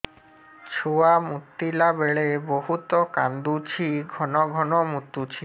ଛୁଆ ମୁତିଲା ବେଳେ ବହୁତ କାନ୍ଦୁଛି ଘନ ଘନ ମୁତୁଛି